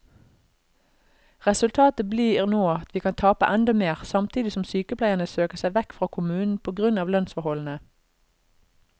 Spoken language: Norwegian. Resultatet blir nå at vi kan tape enda mer, samtidig som sykepleierne søker seg vekk fra kommunen på grunn av lønnsforholdene.